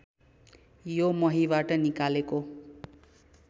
यो महीबाट निकालेको